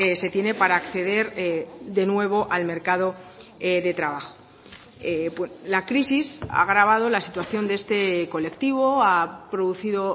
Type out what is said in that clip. se tiene para acceder de nuevo al mercado de trabajo la crisis ha agravado la situación de este colectivo ha producido